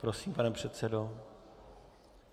Prosím, pane předsedo.